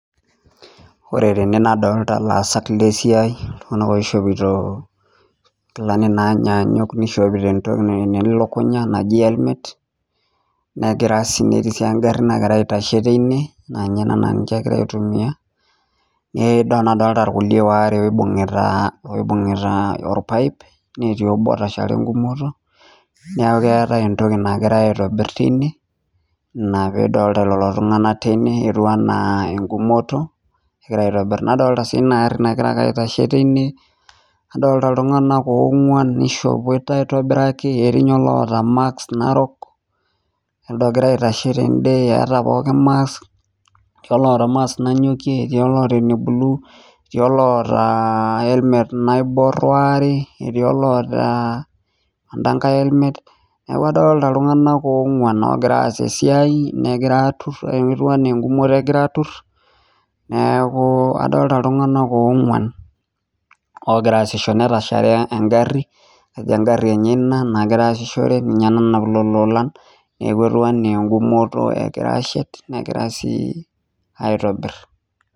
ore tene nadolita ilaasak lesiai ltunganak oishopito nkilani naanyanyuk nishopito napiki elukunya naji elmet netii sii engari nagira aitashe tine naa ninye egira aitumiyia nadolita irkulie waare loibungita orpaep netii obo otashare engumoto neeku keeta entoki nagirae aitobir tine ,ina pee idolita lelo tunganak tine etiu enaa engumoto egira aitobir nadolita sii ina gari nagira aitashe tine nadolita iltunganak ogwan nishopote aitobiraki etii ninye oloota mask narok nelde ogira aitashe tende eeta pookin maks etii oloota makes nanyokie etii oloota eneblue ,etii oloota elmet naibor waare netii oloota endankae elmet ,neeku adolita iltungamnk oongwan oosita esiai negira aatur etiu enaa engumoto egira aatur ,neeku adolita iltunganak oongwan igira asisho nadolita engari ,kajo engari enye ena nagira asishore kajo ninye nanap lelo olan naaku etiu enaa engumoto egira aitobir negira ashet.